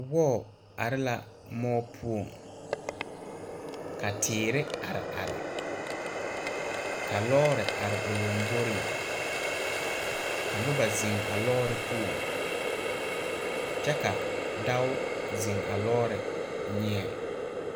Wɔɔ are la moɔ poɔŋ ka teere are are ka lɔɔre are o lomboreŋ ka nobɔ zeŋ a lɔɔre poɔŋ kyɛ ka dao zeŋ a lɔɔre nyeɛŋ.